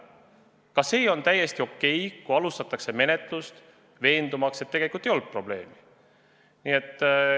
Ka see on täiesti okei, kui alustatakse menetlust, veendumaks, et tegelikult ei olnud probleemi.